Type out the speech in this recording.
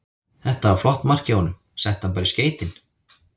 Þetta var flott mark hjá honum, setti hann bara í skeytin.